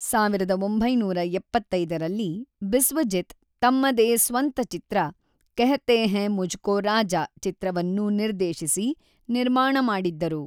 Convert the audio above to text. ೧೯೭೫ರಲ್ಲಿ ಬಿಸ್ವಜಿತ್ ತಮ್ಮದೇ ಸ್ವಂತ ಚಿತ್ರ ಖಹೆತೇ ಹೇ ಮುಜ್ಕೋ ರಾಜಾ ಚಿತ್ರವನ್ನು ನಿರ್ದೇಶಿಸಿ, ನಿರ್ಮಾಣ ಮಾಡಿದ್ದರು.